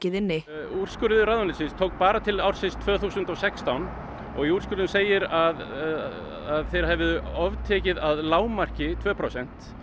inni úrskurður ráðuneytisins tók bara til ársins tvö þúsund og sextán og í úrskurðinum segir að þeir hafi oftekið að lágmarki tvö prósent